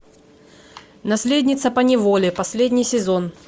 наследница поневоле последний сезон